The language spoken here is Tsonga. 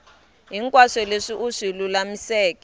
hinkwaswo leswi u swi lulamiseke